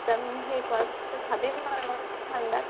exam শেষ হোৱাৰ পিচত ঠান্দাত